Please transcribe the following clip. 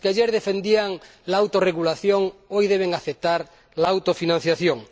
Los que ayer defendían la autorregulación hoy deben aceptar la autofinanciación.